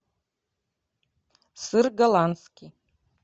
сыр голландский